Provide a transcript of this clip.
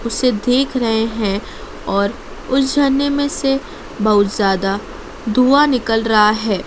उसे देख रहे हैं और उस झरने में से बहुत ज्यादा धुआ निकल रहा है।